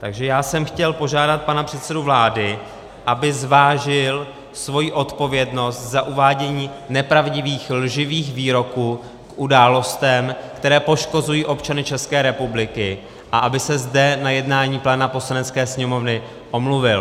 Takže já jsem chtěl požádat pana předsedu vlády, aby zvážil svoji odpovědnost za uvádění nepravdivých lživých výroků k událostem, které poškozují občany České republiky, a aby se zde na jednání pléna Poslanecké sněmovny omluvil.